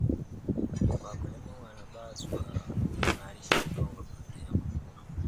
Wakulima wanapaswa kuimarisha udongo baada ya mavuno.